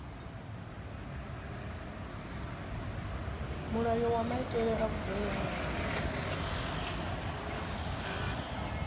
mulayo wa maitele a vhugevhenga